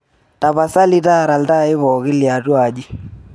tapasali taara iltaai pooki liatwa aji